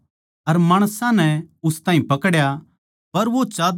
पर वो चाद्दर छोड़कै उघाड़ा भाजग्या